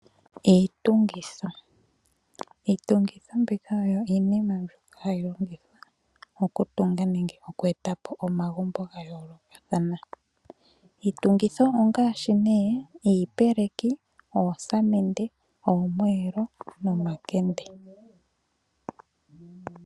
Iitungitho, iitungitho mbika oyo iinima mbyoka hayi longithwa oku tunga nenge oku etapo omagumbo ga yoolokathana. Iitungitho ongashi nee iipeleki, oosamende, oomwelo nomakende.